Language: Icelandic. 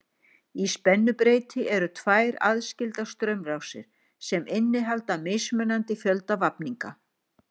Í spennubreyti eru tvær aðskildar straumrásir sem innihalda mismunandi fjölda vafninga.